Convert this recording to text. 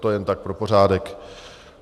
To jen tak pro pořádek.